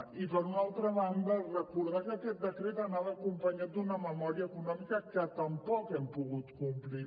i per una altra banda recordar que aquest decret anava acompanyat d’una memòria econòmica que tampoc hem pogut complir